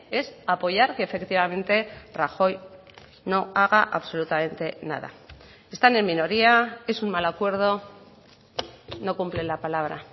es apoyar que efectivamente rajoy no haga absolutamente nada están en minoría es un mal acuerdo no cumple la palabra